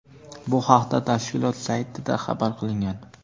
Bu haqda tashkilot saytida xabar qilingan.